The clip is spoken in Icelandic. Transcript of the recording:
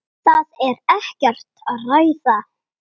Það er ekkert að ræða.